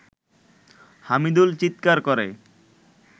হামিদুল চিৎকার করে